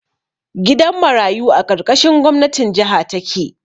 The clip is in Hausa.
Gidan marayu a ƙarƙashin gwamnatin jaha take